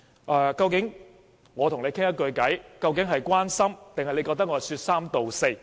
我跟你說一句話，究竟是關心還是你會覺得我是說三道四？